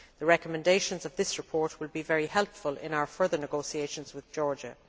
The recommendations of this report will be very helpful in our further negotiations with Georgia.